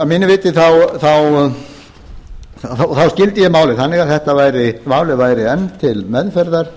mínu viti þá skildi ég málið þannig að málið væri enn til meðferðar